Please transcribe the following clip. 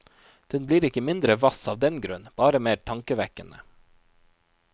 Den blir ikke mindre hvass av den grunn, bare mer tankevekkende.